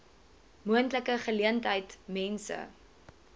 moontlike geleentheid mense